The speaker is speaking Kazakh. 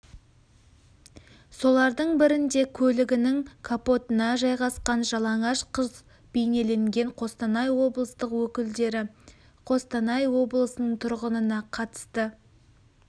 солардың бірінде көлігінің капотына жайғасқан жалаңаш қыз бейнеленген қостанай облыстық өкілдері қостанай облысының тұрғынына қатысты